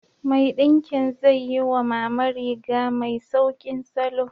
Mai ɗinki zai yi wa Mama riga mai sauƙin salo.